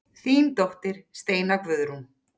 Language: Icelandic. Þín dóttir Steina Guðrún.